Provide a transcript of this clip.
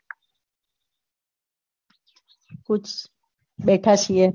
બેઠા છીએ